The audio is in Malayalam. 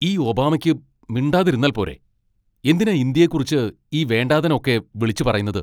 ഈ ഒബാമയ്ക്ക് മിണ്ടാതിരുന്നാൽ പോരേ, എന്തിനാ ഇന്ത്യയെക്കുറിച്ച് ഈ വേണ്ടാതനം ഒക്കെ വിളിച്ചുപറയുന്നത്?